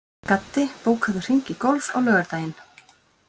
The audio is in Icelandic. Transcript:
Gaddi, bókaðu hring í golf á laugardaginn.